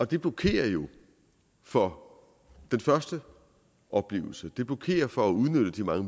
det blokerer jo for den første oplevelse det blokerer for at udnytte de mange